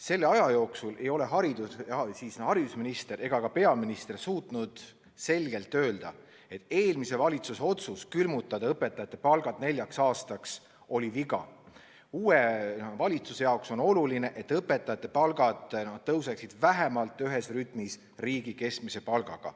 Selle aja jooksul ei ole haridusminister ega ka peaminister suutnud selgelt öelda, et eelmise valitsuse otsus külmutada õpetajate palgad neljaks aastaks oli viga ja et uue valitsuse jaoks on oluline, et õpetajate palgad tõuseksid vähemalt ühes rütmis riigi keskmise palgaga.